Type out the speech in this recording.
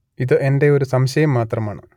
ഇത് എന്റെ ഒരു സംശയം മാത്രമാണ്